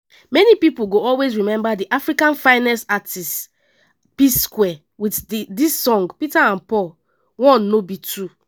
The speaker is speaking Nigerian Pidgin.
some of dia biggest hits na busy body do me ifunaya and break it.